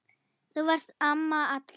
Þú varst amma allra.